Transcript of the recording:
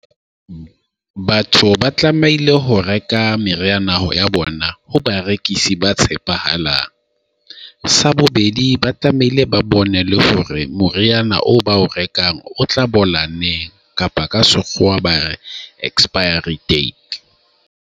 Batho ba tlamehile ho reka meriana ya bona ho barekisi ba tshepahalang. Sa bobedi ba tlamehile ba bone le hore moriana o ba o rekang o tla bola neng, kapa ka Sekgowa ba re expiry date.